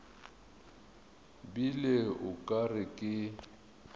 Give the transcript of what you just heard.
bile o ka re ke